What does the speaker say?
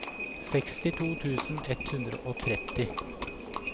sekstito tusen ett hundre og tretti